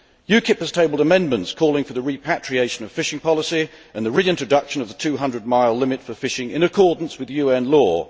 UKIP has tabled amendments calling for the repatriation of fishing policy and the reintroduction of the 200 mile limit for fishing in accordance with UN law.